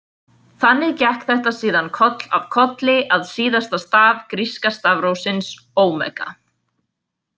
Þannig gekk þetta síðan koll af kolli að síðasta staf gríska stafrófsins Omega.